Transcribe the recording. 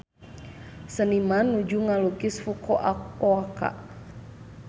Seniman nuju ngalukis Fukuoka